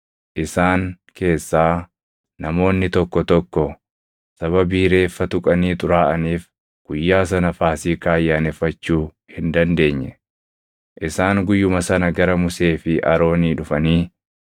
Isaan keessaa namoonni tokko tokko sababii reeffa tuqanii xuraaʼaniif guyyaa sana Faasiikaa ayyaaneffachuu hin dandeenye. Isaan guyyuma sana gara Musee fi Aroonii dhufanii,